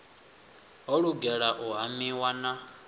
ho lugela u hamiwa na